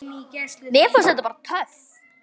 Mér fannst það bara. töff.